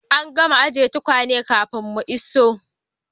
An gama ajin tukwane kafin mu iso.